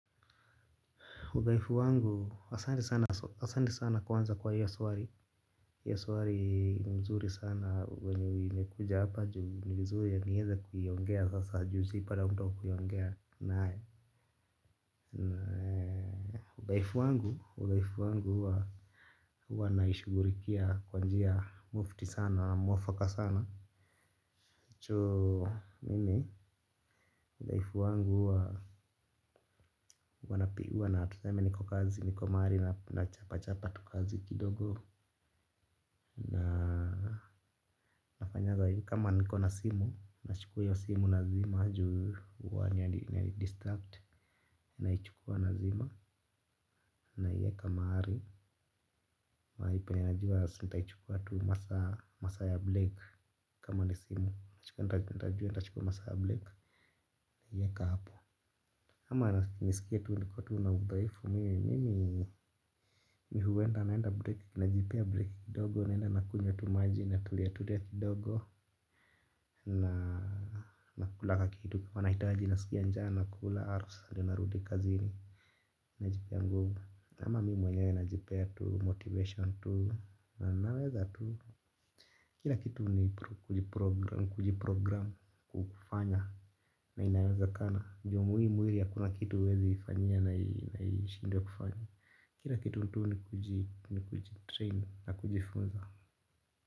Udhaifu wangu asanti sana kwanza kwa hiyo swali hiyo swali ni mzuri sana venye imekuja hapa juu ni mzuri niweze kuiongea sasa juu sikuwa na mtu wa kuiongea naye. Udhaifu wangu, huwa naishugurikia kwa njia mufti sana, mwafaka sana choo mimi life wangu huwa napigiwa na tuseme niko kazi niko mahali nachapachapa tu kazi kidogo. Na nafanya za hii kama niko na simu nachukua ya simu nazima juu huwa inanidistract naichukua nazima naiweka mahali. Mahali penye najua nitaichukua tu masaa ya break kama ni simu na chukua nitachukua masaa ya break naiweka hapo. Ama nisikie tu niko tu na udhaifu mimi mi huenda naenda break najipea break kidogo naenda nakunywa tu maji na tulia tulia kidogo na kula kitu kama nahitaji naskia njaa nakula narudi kazini. Najipea nguvu ama mimi mwenyewe najipea tu motivation tu na naweza tu. Kila kitu ni kujiprogram kufanya na inawezakana. Juu muhimu ili hakuna kitu huwezi ifanya na ishindwe kufanya. Kila kitu tu ni kujitrain na kujifunza.